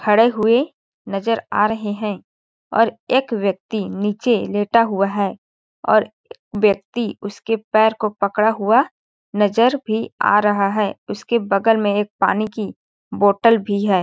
खड़े हुए नज़र आ रहे है और एक ब्यक्ति नीचे लेटा हुआ है और ब्यक्ति उसके पैर को पकड़ा हुआ नज़र भी आ रहा है उसके बगल में एक पानी की बोटल भी हैं।